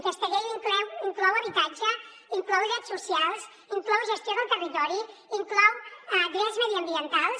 aquesta llei inclou habitatge inclou drets socials inclou gestió del territori inclou drets mediambientals